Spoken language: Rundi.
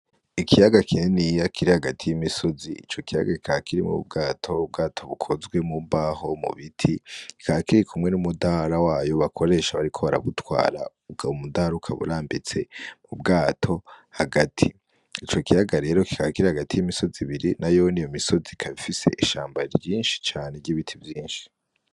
Ikiyaga kininiya kiri hagati y'imisozi, ico kiyaga kikaba kirimwo ubwato, ubwato bukozwe mu mbaho, mu biti, kikaba kiri kumwe n'umudahara wayo bakoresha bariko barabutwara, ukaba umudahara urambitse mu bwato hagati, ico kiyaga rero kikaba kiri hagati y'imisozi ibiri nayone, iyo misozi ikaba ifise ishamba ryinshi cane ry'ibiti vyinshi.